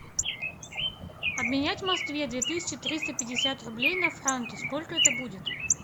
обменять в москве две тысячи триста пятьдесят рублей на франки сколько это будет